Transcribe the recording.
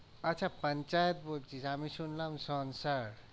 আচ্ছা বলছিস আমি শুনলাম